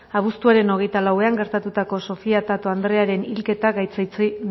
abuztuaren hogeita lauean gertatutako sofia tato andrearen hilketa gaitzetsi